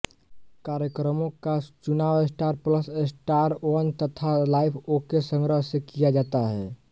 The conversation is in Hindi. कार्यक्रमों का चुनाव स्टार प्लसस्टार वन तथा लाइफ ओके संग्रह से किया जाता है